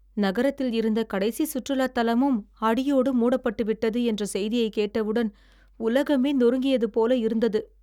நகரத்தில் இருந்த கடைசி சுற்றுலாத் தலமும் அடியோடு மூடப்பட்டு விட்டது என்ற செய்தியைக் கேட்டவுடன் உலகமே நொறுங்கியது போல இருந்தது!